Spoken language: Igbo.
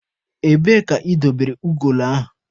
Ebee ka ị dobere ugolo ahụ?